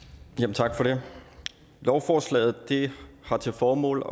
tak for det lovforslaget har til formål